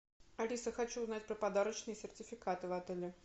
алиса хочу узнать про подарочные сертификаты в отеле